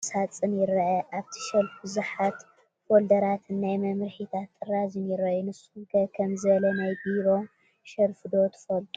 ናይ ቢሮ ናይ ኣቑሑት ሸልፍ ወይ ከዓ ቁም ሳጥን ይረአ፡፡ ኣብቲ ሸልፍ ብዙሓት ፎልደራትን ናይ መምርሒታት ጥራዝ ይራኣዩ፡፡ ንስኹም ከ ከምዚ ዝበለ ናይ ቢሮ ሸልፍ ዶ ትፈልጡ?